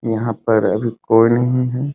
यहाँ पर अभी कोई नहीं है।